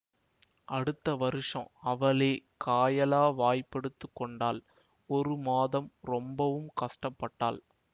அடுத்த வருஷம் அவளே காயலாவாய்ப் படுத்து கொண்டாள் ஒரு மாதம் ரொம்பவும் கஷ்டப்பட்டாள்